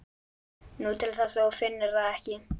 Nú, til þess að þú finnir það ekki.